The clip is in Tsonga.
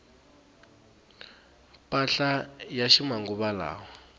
mpahla ya ximanguvalawa